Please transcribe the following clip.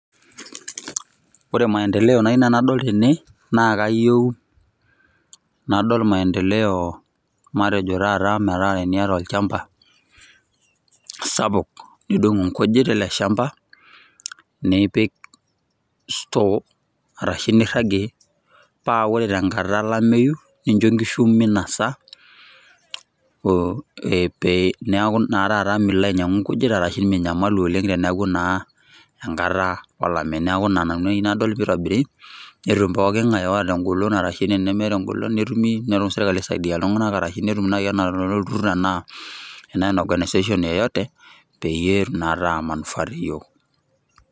Ore maendeleo nau nanu nadol tene, na kayieu nadol maendeleo matejo taata metaa teniata olchamba, sapuk, nidung' inkujit ele shamba, nipik store arashu nirragie, pa ore tenkata olameyu, nincho nkishu minasa, pe neeku naa taata milo ainyang'u nkujit arashu minyamalu oleng' teneeku naa enkata olameyu. Neeku ina nanu ayieu nadol pitobiri, netum pooking'ae oota egolon arashu tenemeeta egolon, netumi, nelo serkali aisaidia iltung'anak arashu netum nai enaa enaata olturrur enaa, enaa organisation yoyote, peyie etum na ataa manufaa teyiok.